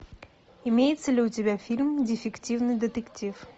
имеется ли у тебя фильм дефективный детектив